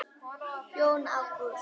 Jón Ágúst.